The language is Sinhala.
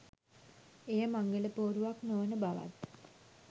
එය මංගල පෝරුවක් නොවන බවත්